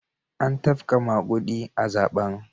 An tafka magudi a zaben.